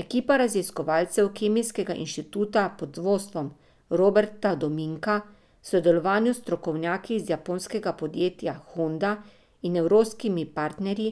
Ekipa raziskovalcev Kemijskega inštituta pod vodstvom Roberta Dominka, v sodelovanju s strokovnjaki iz japonskega podjetja Honda in evropskimi partnerji,